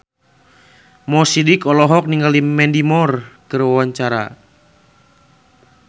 Mo Sidik olohok ningali Mandy Moore keur diwawancara